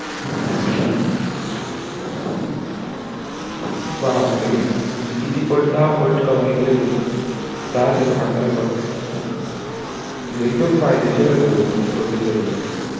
बाप रे म्हणजे किती पट दहा पट कमाई केली त्याने दहा ते आखरा पट म्हणजे एकदम फायेदेशीर होता तो त्यांच producer वगेरे साठी